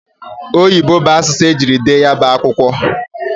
Oyibo bụ asụsụ e jiri dee ya bụ akwụkwọ.